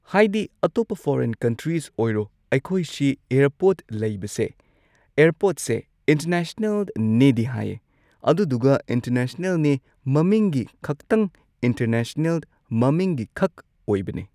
ꯍꯥꯏꯗꯤ ꯑꯇꯣꯞꯄ foreign countries ꯑꯣꯏꯔꯣ ꯑꯩꯈꯣꯏ ꯁꯤ ꯑꯦꯔꯄꯣꯔꯠ ꯂꯩꯕꯁꯦ ꯑꯦꯔꯄꯣꯔꯠꯁꯦ ꯏꯟꯇꯔꯅꯦꯁꯅꯦꯜꯅꯦꯗꯤ ꯍꯥꯏꯌꯦ ꯑꯗꯨꯗꯨꯒ ꯏꯟꯇꯔꯅꯦꯁꯅꯦꯜꯅꯦ ꯃꯃꯤꯡꯒꯤ ꯈꯛꯇꯪ ꯏꯟꯇꯔꯅꯦꯁꯅꯦꯜ ꯃꯃꯤꯡꯒꯤꯈꯛ ꯑꯣꯏꯕꯅꯦ ꯫